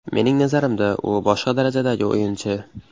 Mening nazarimda, u boshqa darajadagi o‘yinchi.